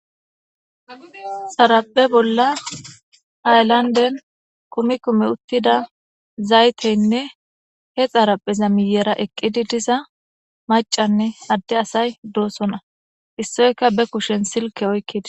Xaraphphe bolla hayillandde kumi kumi uttida zayitteyinne he xarapheza miyera eqqidi diza maccanne adde asayi doosona issoyikka be kushshen sillke oyikidess.